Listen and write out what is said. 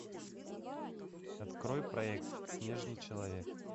открой проект снежный человек